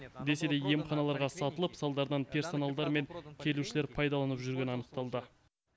десе де емханаларға сатылып салдарынан персоналдар мен келушілер пайдаланып жүргені анықталды